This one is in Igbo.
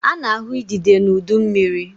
A na-ahụ idide n'udu mmiri.